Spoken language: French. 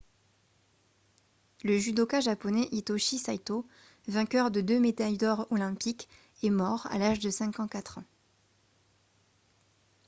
le judoka japonais hitoshi saito vainqueur de deux médailles d'or olympiques est mort à l'âge de 54 ans